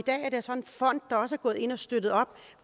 fond der også er gået ind og har støttet op